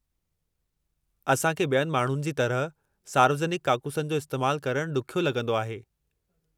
असां खे ॿियनि माण्हुनि जी तरह सार्वजनिकु काकूसनि जो इस्तेमालु करणु ॾुख्यो लॻंदो आहे।